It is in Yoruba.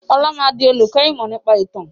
Ọlá máa di olùkọ́ ìmọ̀ nípa ìtàn